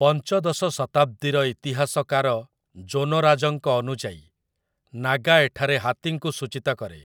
ପଞ୍ଚଦଶ ଶତାବ୍ଦୀର ଇତିହାସକାର ଜୋନରାଜଙ୍କ ଅନୁଯାୟୀ, 'ନାଗା' ଏଠାରେ ହାତୀଙ୍କୁ ସୂଚୀତ କରେ ।